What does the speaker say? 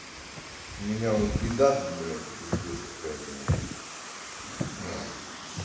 у меня вот беда тут блять пиздец какая-то нахуй